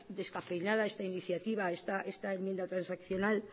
descafeinada esta iniciativa esta enmienda transaccional